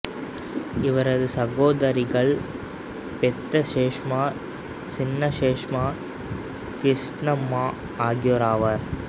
இவரது சகோதரிகள் பெத்த சேஷம்மா சின்ன சேஷம்மா கிருஷ்ணம்மா ஆகியோராவர்